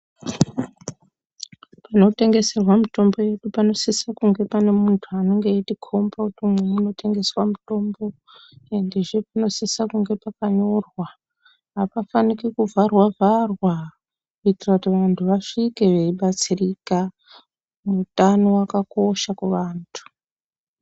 Panotengeserwa mitombo yedu panosisa kunge pane muntu anenge eitikomba kuti umu munotengeswa mitombo endezve panosisa kunge pakanyorwa hapafaniki kuvharwa vharwa kuitira kuti vantu vasvike veibatsirika utano wakakosha kuvantu